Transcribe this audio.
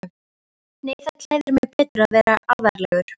Nei það klæðir mig betur að vera alvarlegur.